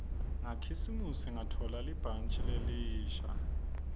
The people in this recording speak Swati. ngakhisimusi ngatfola libhantji lelisha